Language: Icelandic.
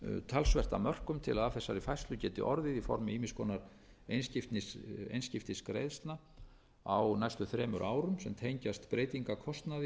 talsvert af mörkum til að af þessari færslu geti orðið í formi ýmiss konar einskiptisgreiðslna á næstu þremur árum sem tengjast breytingarkostnaði og